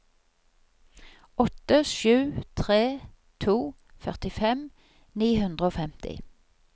åtte sju tre to førtifem ni hundre og femti